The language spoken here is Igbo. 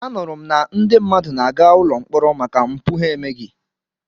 Anụrụ m na ndị mmadụ na-aga ụlọ mkpọrọ maka mpụ ha emeghị.